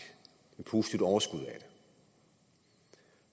et positivt overskud